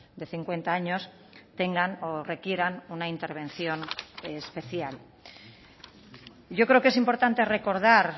de cincuenta años tengan o requieran una intervención especial yo creo que es importante recordar